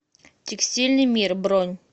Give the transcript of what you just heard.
текстильный мир бронь